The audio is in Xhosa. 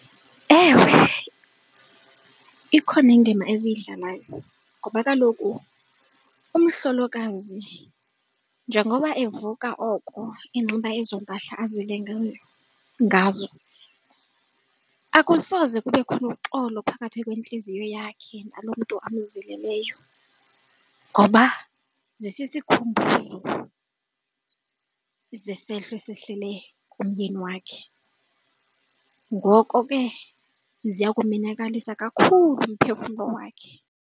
Ewe, ikhona indima eziyidlalayo ngoba kaloku umhlolokazi njengoba evuka oko enxiba ezoo mpahla azilileyo ngazo akusoze kube khona uxolo phakathi kwentliziyo yakhe nalo mntu amzileleyo ngoba zisisikhumbuzo zesehlo esihlele nomyeni wakhe. Ngoko ke ziya kumenakalisa kakhulu umphefumlo wakhe.